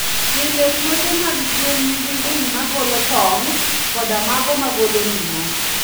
Pile, puothe mag gwen nigi winy ma golo tong' koda mago ma golo ring'o.